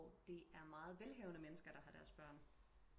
Det er meget velhavende mennesker der har deres børn